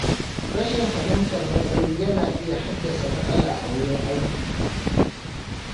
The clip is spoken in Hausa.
Rashin fahimtar matsayi yana iya haddasa matsala a wurin aiki.